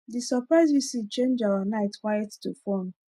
the surprise visit change our night quiet to fun